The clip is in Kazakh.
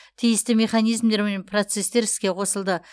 тиісті механизмдер мен процестер іске қосылды